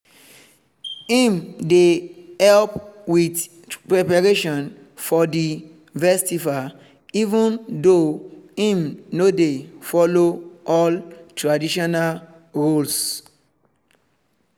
im dey help with preparation for the festival even though im no dey follow all traditional roles